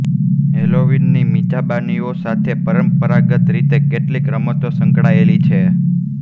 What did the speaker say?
હેલોવીનની મિજબાનીઓ સાથે પરંપરાગત રીતે કેટલીક રમતો સંકળાયેલી છે